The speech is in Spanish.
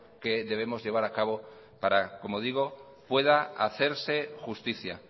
que debemos llevar a cabo para como digo pueda hacerse justicia